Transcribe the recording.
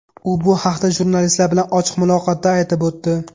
U bu haqda jurnalistlar bilan ochiq muloqotda aytib o‘tdi.